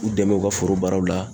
U dɛmɛ u ka foro baaraw la